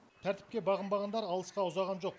тәртіпке бағынбағандар алысқа ұзаған жоқ